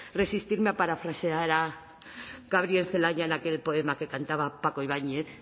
resistirme a parafrasear a gabriel celaya en aquel poema que cantaba paco ibañez